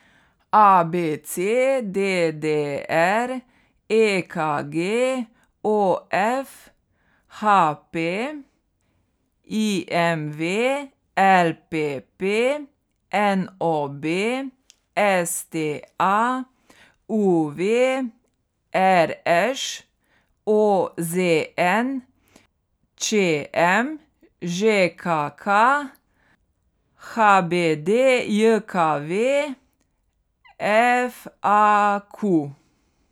A B C; D D R; E K G; O F; H P; I M V; L P P; N O B; S T A; U V; R Š; O Z N; Č M; Ž K K; H B D J K V; F A Q.